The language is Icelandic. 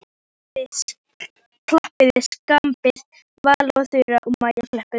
Klappiði skipaði Vala og Þura og Maja klöppuðu.